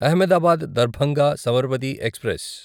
Ahmedabad Darbhanga Sabarmati express